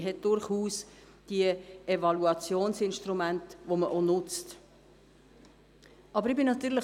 Es gibt durchaus diese Evaluationsinstrumente, welche auch genutzt werden.